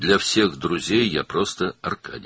Bütün dostlar üçün mən sadəcə Arkadiyəm.